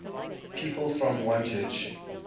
people from wantage